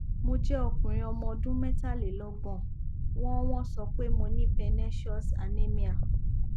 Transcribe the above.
mo jẹ okunrin ọmọ ọdún metalelogbon wọn wọn so pe mo ní pernecious anemia